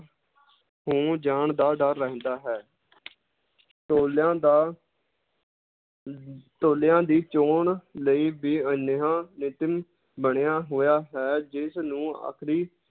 ਹੋ ਜਾਣ ਦਾ ਡਰ ਰਹਿੰਦਾ ਹੈ ਟੋਲਿਆਂ ਦਾ ਅਮ ਟੋਲਿਆਂ ਦੀ ਚੌਣ ਲਈ ਵੀ ਬਣਿਆ ਹੋਇਆ ਹੈ ਜਿਸਨੂੰ ਆਖਰੀ